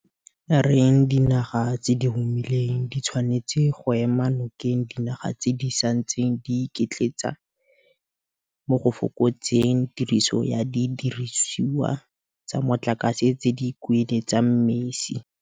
reng dinaga tse di humileng di tshwanetse go ema nokeng dinaga tse di santseng di iketletsa mo go fokotseng tiriso ya didirisiwa tsa motlakase tse di kueletsang mesi.